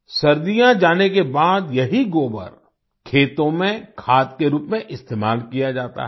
सर्दियाँ जाने के बाद यही गोबर खेतों में खाद के रूप में इस्तेमाल किया जाता है